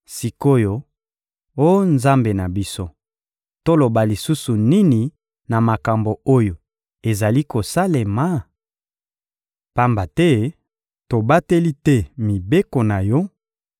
Sik’oyo, oh Nzambe na biso, toloba lisusu nini na makambo oyo ezali kosalema? Pamba te tobateli te mibeko na Yo,